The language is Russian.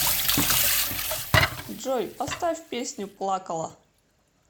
джой поставь песню плакала